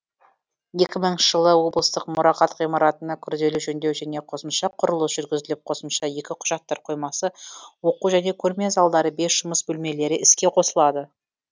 екі мыңыншы жылы облыстық мұрағат ғимаратына күрделі жөндеу және қосымша құрылыс жүргізіліп қосымша екі құжаттар қоймасы оқу және көрме залдары бес жұмыс бөлмелері іске қосылды